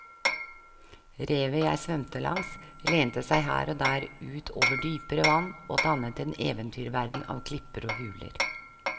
Revet jeg svømte langs lente seg her og der ut over dypere vann og dannet en eventyrverden av klipper og huler.